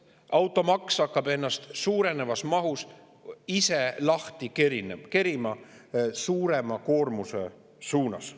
Automaks hakkab mahus suurenema, ennast ise lahti kerima suurema koormuse suunas.